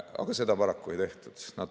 Aga seda paraku ei tehtud.